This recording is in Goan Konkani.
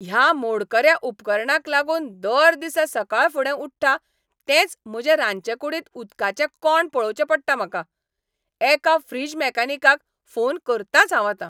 ह्या मोडकऱ्या उपकरणाक लागून दर दिसा सकाळफुडें उठ्ठा तेंच म्हजे रांदचेकूडींत उदकाचें कोंड पळोवचें पडटा म्हाका! एका फ्रिज मेकॅनिकाक फोन करतांच हांव आतां.